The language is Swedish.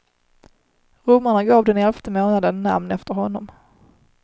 Romarna gav den elfte månaden namn efter honom.